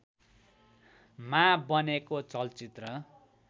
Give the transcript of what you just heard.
मा बनेको चलचित्र